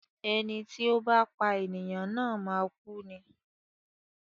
Ẹni tí ó bá pá ènìyàn na máa kú ni.